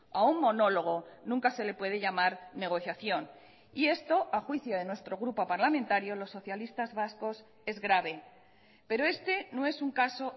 a un monólogo nunca se le puede llamar negociación y esto a juicio de nuestro grupo parlamentario los socialistas vascos es grave pero este no es un caso